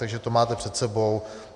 Takže to máte před sebou.